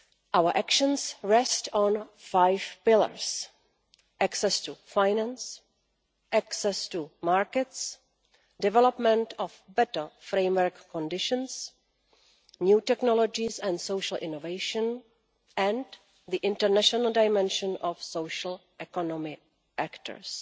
Our actions rest on five pillars access to finance, access to markets, development of better framework conditions, new technologies and social innovation and the international dimension of social economic actors.